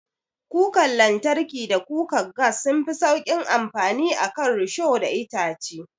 Kukar lantarki da kukar gas sunfi sauƙin amfani a kan risho da itace.